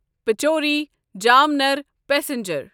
Pachora Jamner passenger